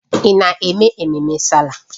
Ị na-eme ememme Sáálà?